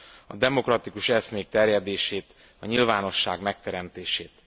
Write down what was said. a demokratikus eszmék terjedését, a nyilvánosság megteremtését.